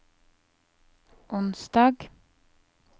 onsdag